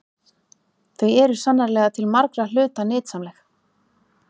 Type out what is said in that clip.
Þau eru sannarlega til margra hluta nytsamleg.